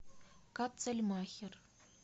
катцельмахер